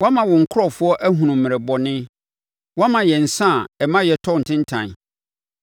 Woama wo nkurɔfoɔ ahunu mmerɛ bɔne; woama yɛn nsã a ɛma yɛtɔ ntentan.